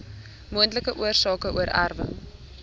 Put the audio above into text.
moontlike oorsake oorerwing